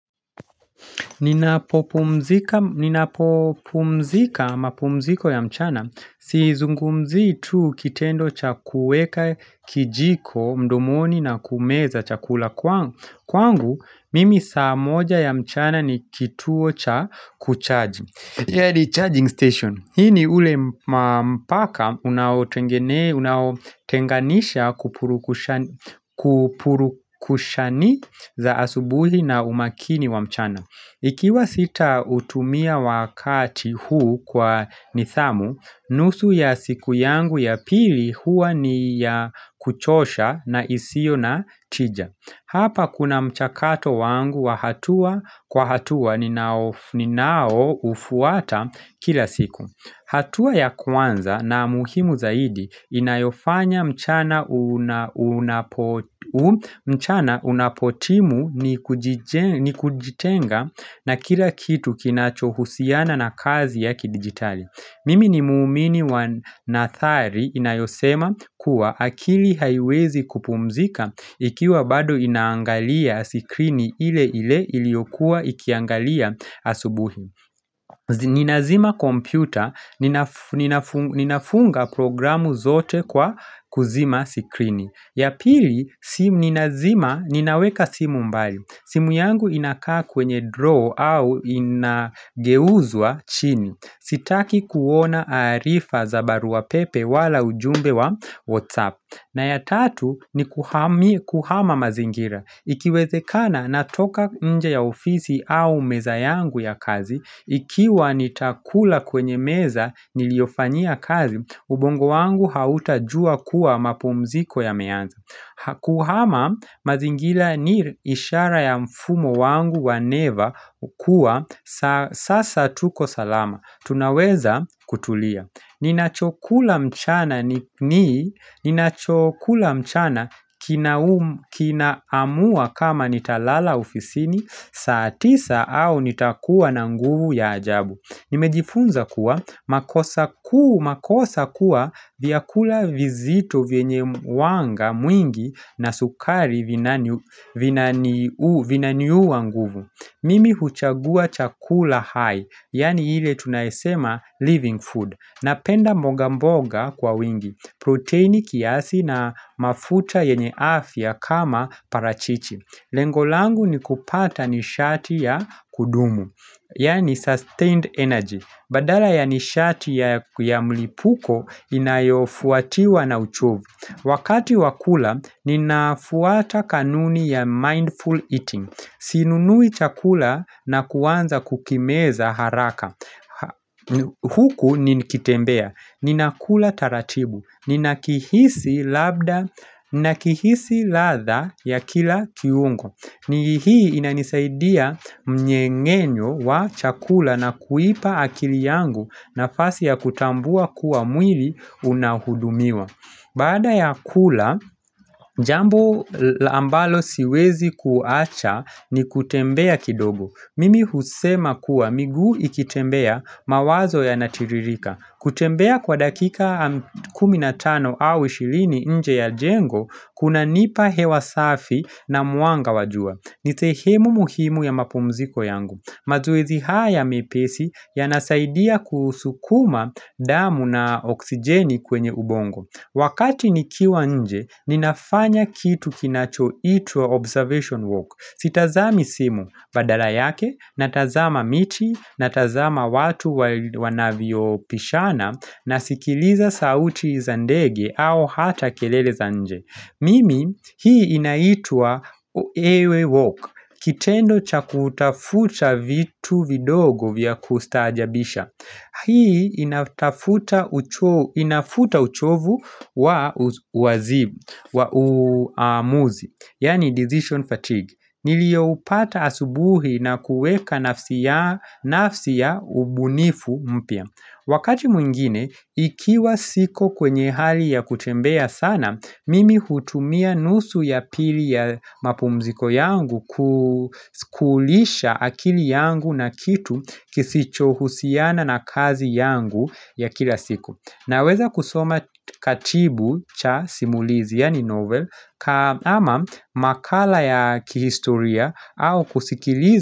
Ninapopumzika mapumziko ya mchana, sizungumzi tu kitendo cha kuweka kijiko mdomoni na kumeza chakula kwangu, kwangu mimi saa moja ya mchana ni kituo cha kucharge. Yali charging station, hii ni ule mpaka unawotengenee unaotenganisha kupurukusha kupurukushani za asubuhi na umakini wa mchana. Ikiwa sita hutumia wakati huu kwa nithamu, nusu ya siku yangu ya pili hua ni ya kuchosha na isio na tija. Hapa kuna mchakato wangu wa hatua kwa hatua ninao ninao ufuata kila siku. Hatua ya kwanza na muhimu zaidi inayofanya mchana unapotimu nikujije kujitenga na kila kitu kinachohusiana na kazi yaki kidigitali. Mimi ni muumini wanathari inayosema kuwa akili haiwezi kupumzika ikiwa bado inangalia sikrini ile ile iliokua ikiangalia asubuhi. Ninazima kompyuta, nina ninafunga programu zote kwa kuzima sikrini Yapili, ninaweka simu mbali simu yangu inakaa kwenye draw au inageuzwa chini Sitaki kuona arifa za barua pepe wala ujumbe wa whatsapp na ya tatu nikuhamia kuhama mazingira Ikiwezekana natoka mja ya ofisi au meza yangu ya kazi Ikiwa nitakula kwenye meza niliofanyia kazi, ubongo wangu hautajua kuwa mapumziko yameanza. Hakuhama, mazingira ni ishara ya mfumo wangu wa never hukuwa, sa sasa tuko salama. Tunaweza kutulia. Ninachokula mchana ni ninachokula mchana kinaa kinaamua kama nitalala ofisini, saa tisa au nitakuwa na nguvu ya ajabu. Nimejifunza kuwa, makosa kuu makosa kuwa vyakula vizito vyenye wanga mwingi na sukari vinanani vinaniu vinaniua nguvu. Mimi huchagua chakula high, yani ile tunayesema living food. Napenda mboga mboga kwa wingi. Proteini kiasi na mafuta yenye afya kama parachichi. Lengo langu nikupata nishati ya kudumu. Yani sustained energy. Badala ya nishati ya ya mlipuko inayofuatiwa na uchovu. Wakati wakula, ninafuata kanuni ya mindful eating. Sinunui chakula na kuwanza kukimeza haraka. Huku ni kitembea Ninakula taratibu Ninakihisi labda Ninakihisi latha ya kila kiungo ni hii inanisaidia mnyengenyo wa chakula na kuipa akili yangu nafasi ya kutambua kuwa mwili unahudumiwa Baada ya kula Jambo ambalo siwezi kuacha ni kutembea kidogo Mimi husema kuwa miguu ikitembea mawazo ya natiririka kutembea kwa dakika 15 au 20 nje ya jengo kunanipa hewa safi na mwanga wajua Nisehemu muhimu ya mapumziko yangu mazoezi haya mepesi yanasaidia kusukuma damu na oksijeni kwenye ubongo Wakati nikiwa nje, ninafanya kitu kinachoitwa Observation Walk Sitazami simu, badala yake, natazama miti, natazama watu wa wanavyopishana, nasikiliza sauti za ndege au hata kelele za nje. Mimi, hii inaitwa ewe walk, kitendo cha kutafuta vitu vidogo vya kustajabisha. Hii inatafuta uchoo inafuta uchovu wa uwazim wa uuamuzi, yani decision fatigue. Niliyoupata asubuhi na kuweka nafsi ya ubunifu mpya. Wakati mwingine, ikiwa siko kwenye hali ya kutembea sana, mimi hutumia nusu ya pili ya mapumziko yangu kukulisha akili yangu na kitu kisichohusiana na kazi yangu ya kila siku. Naweza kusoma katibu cha simulizi, yani novel, ama makala ya kihistoria au kusikilizi.